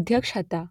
અધ્યક્ષ હતા